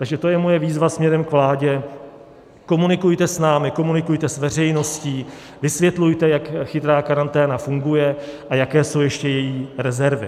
Takže to je moje výzva směrem k vládě: Komunikujte s námi, komunikujte s veřejností, vysvětlujte, jak chytrá karanténa funguje a jaké jsou ještě její rezervy.